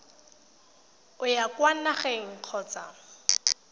o ya kwa nageng kgotsa